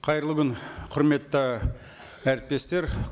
қайырлы күн құрметті әріптестер